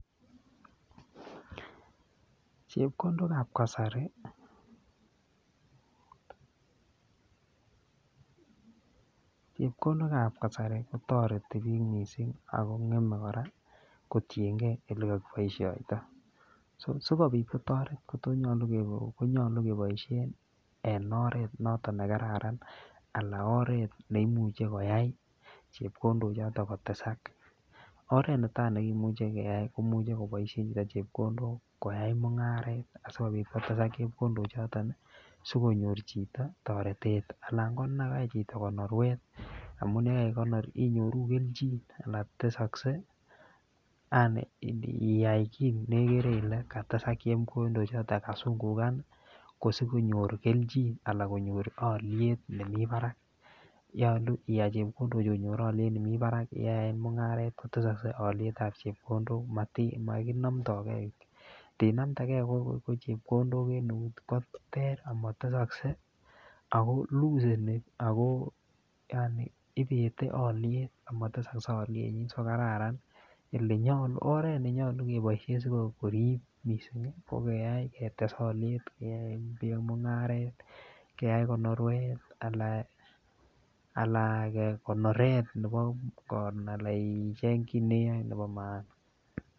Chepkondokab kasari, chepkondokab kasari kotoreti biik mising ak ko ngeme kotienge elekokiboishoito, sikobit kotoret kotonyolu konyolu keboishen en oreet noton nekararan alaa oreet neimuche koyai chepkondo choton kotesak, oreet netaa nekimuche keyaen komuche koboishen chepkondok koyai mungaret asikobit kotesak chepkondo choton sikonyor chito torete alan konekai chito konorwet amun yekaikonor inyoru kelchin anan tesokse yaani indiyai kii nekere ilee katesak chepkondo choton kasungukan kosikonyor kelchin alaa konyor oliet nemii barak, nyolu ikany chepkondochu konyor oliet nemi barak yeyaen mungaret kotesokse olietab chepkondok mokinomndoke, ndinamndeke ko chepkondok en eut koter amotesokse ako mikiseni ak ko yaani ibete oliet amotesokse olienyin so kararan, oreet nenyolu keboishen sikorib mising ko keyai ketes oliet keyai mungaret keyai konorwet alaan kekonoret nepo alaa icheng kii neyoe nebo maana.